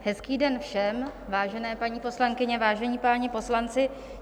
Hezký den všem, vážené paní poslankyně, vážení páni poslanci.